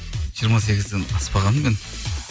жиырма сегізден аспағанмын мен